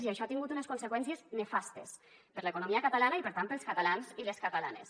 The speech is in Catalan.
i això ha tingut unes conseqüències nefastes per a l’economia catalana i per tant per als catalans i les catalanes